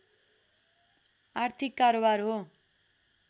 आर्थिक कारोबार हो